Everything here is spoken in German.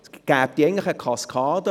Es gäbe jetzt eigentlich eine Kaskade: